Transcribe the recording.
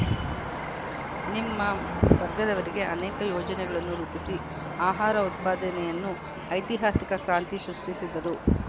ನಿಮ್ಮ ವರ್ಗದವರಿಗೆ ಅನೇಕ ಯೋಜನೆಗಳನ್ನು ರೂಪಿಸಿ ಆಹಾರ ಉತ್ಪಾದನೆಯನ್ನು ಐತಿಹಾಸಿಕ ಕ್ರಾಂತಿ ಸೃಷ್ಟಿಸಿದ್ದರು